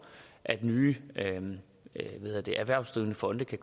at nye erhvervsdrivende fonde kan